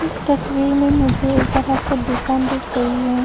इस तस्वीर में मुझे एक बड़ा सा दुकान दिख रही है।